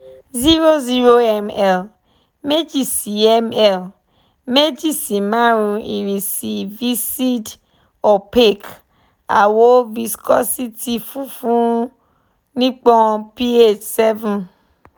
zero zero em elu meji si em elu meji si marun irisi viscid opaque awọ viscosity funfun nipọn P-H seven